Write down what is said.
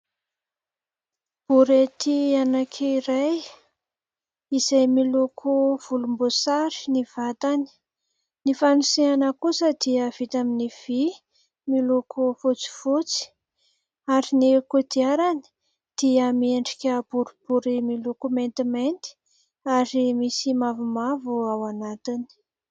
Borety anankiray izay miloko volom-boasary ny vatany. Ny fanoseana kosa dia vita amin'ny vy miloko fotsifotsy ary ny kodiarany dia miendrika boribory miloko maintimainty ary misy mavomavo ao anatiny.